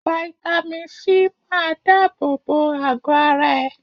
Fáítámì Sí máa dábò bo àgọ́ ara ẹ.